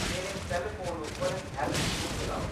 मेरे cell phone उप्पर health show चलाओ